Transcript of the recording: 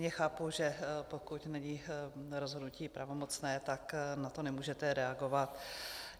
Chápu, že pokud není rozhodnutí pravomocné, tak na to nemůžete reagovat.